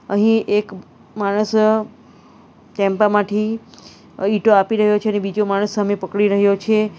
અહીં એક માણસ ટેમ્પા માંઠી ઇટો આપી રહ્યો છે અને બીજો માણસ સામે પકડી રહ્યો છે.